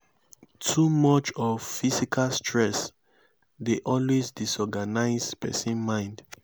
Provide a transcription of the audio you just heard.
too much of physical stress dey always disorganise persin mind